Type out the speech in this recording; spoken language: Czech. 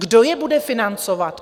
Kdo je bude financovat?